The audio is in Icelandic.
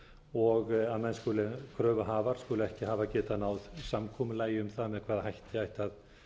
og að menn skuli kröfuhafar skuli ekki hafa getað náð samkomulagi um það með hvaða hætti ætti að